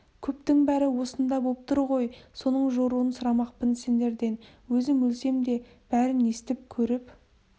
көптің бәрі осында боп тұр ғой соның жоруын сұрамақпын сендерден өзім өлсем де бәрін естіп көріп